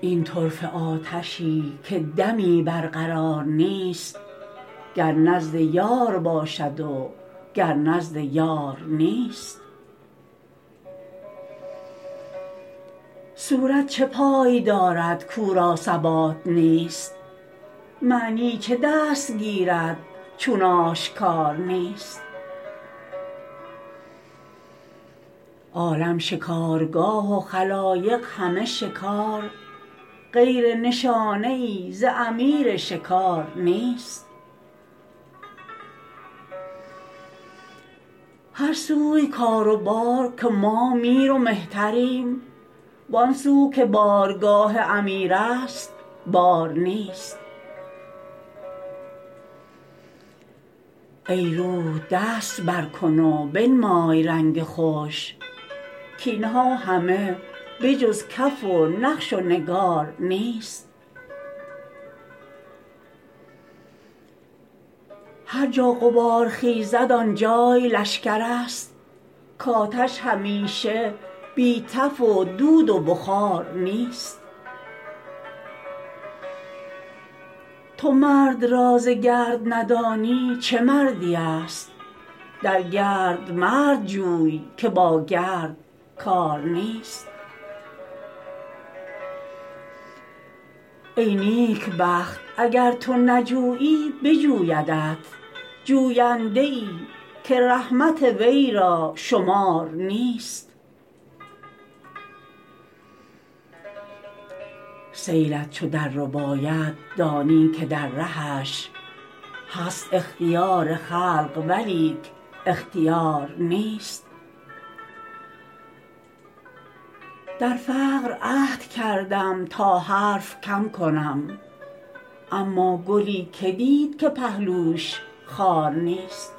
این طرفه آتشی که دمی برقرار نیست گر نزد یار باشد وگر نزد یار نیست صورت چه پای دارد کو را ثبات نیست معنی چه دست گیرد چون آشکار نیست عالم شکارگاه و خلایق همه شکار غیر نشانه ای ز امیر شکار نیست هر سوی کار و بار که ما میر و مهتریم وان سو که بارگاه امیرست بار نیست ای روح دست برکن و بنمای رنگ خوش کاین ها همه به جز کف و نقش و نگار نیست هر جا غبار خیزد آن جای لشکرست کآتش همیشه بی تف و دود و بخار نیست تو مرد را ز گرد ندانی چه مردیست در گرد مرد جوی که با گرد کار نیست ای نیکبخت اگر تو نجویی بجویدت جوینده ای که رحمت وی را شمار نیست سیلت چو دررباید دانی که در رهش هست اختیار خلق ولیک اختیار نیست در فقر عهد کردم تا حرف کم کنم اما گلی که دید که پهلویش خار نیست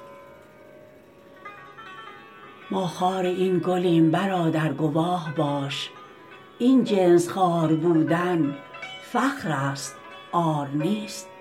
ما خار این گلیم برادر گواه باش این جنس خار بودن فخرست عار نیست